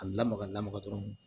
A lamaga lamaga dɔrɔn